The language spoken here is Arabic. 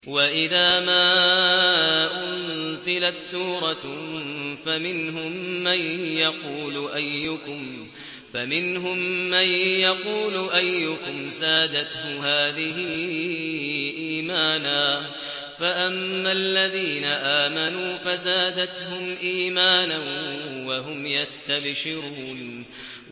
وَإِذَا مَا أُنزِلَتْ سُورَةٌ فَمِنْهُم مَّن يَقُولُ أَيُّكُمْ زَادَتْهُ هَٰذِهِ إِيمَانًا ۚ فَأَمَّا الَّذِينَ آمَنُوا فَزَادَتْهُمْ إِيمَانًا وَهُمْ يَسْتَبْشِرُونَ